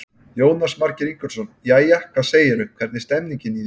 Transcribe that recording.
Jónas Margeir Ingólfsson: Jæja, hvað segirðu, hvernig er stemmingin í þér?